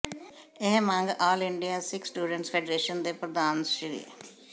ਇਹ ਮੰਗ all India Sikh students federation ਦੇ ਪ੍ਰਧਾਨ ਸ੍ਰ